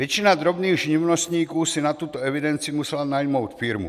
Většina drobných živnostníků si na tuto evidenci musela najmout firmu.